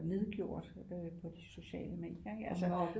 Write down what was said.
Nedgjort øh på de sociale medier ikke altså